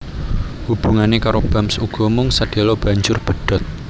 Hubungané karo Bams uga mung sedhéla banjur pedhot